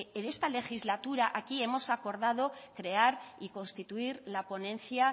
en esta legislatura aquí hemos acordado crear y constituir la ponencia